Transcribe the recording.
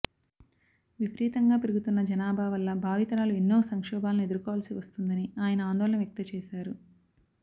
విపరీతంగా పెరుగుతున్న జనాభా వల్ల భావి తరాలు ఎన్నో సంక్షోభాలను ఎదుర్కోవాల్సి వస్తుందని ఆయన ఆందోళన వ్యక్త చేశారు